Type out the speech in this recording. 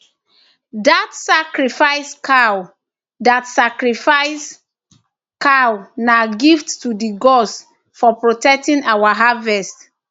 that sacrifice cow that sacrifice cow na gift to the gods for protecting our harvest